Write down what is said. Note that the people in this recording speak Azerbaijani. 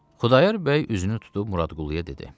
Xudayar bəy üzünü tutub Muradquluya dedi: